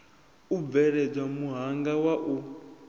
u bveledza muhanga wa u